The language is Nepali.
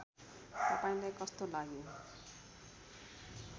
तपाईँलाई कस्तो लाग्यो